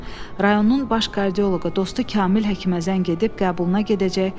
Rayonun baş kardioloqu dostu Kamil həkimə zəng edib qəbuluna gedəcək.